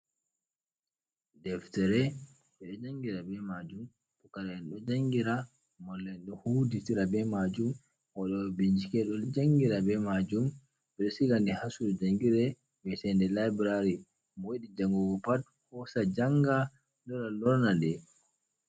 Deftere ɓe ɗo jangira be majum pukara'en ɗo jangira, mallu'en ɗo hutindira be majum, waɗowo bincike ɗo jangira be majum. Ɓe ɗo siga nde ha sudu jangirde vi'eteɗee laibrari mo yiɗi jangugo pat hosa janga, lora lorna ɗe.